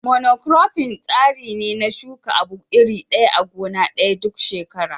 Mono kurofin tsari ne na shuka abu iri ɗaya a gona ɗaya duk shekara.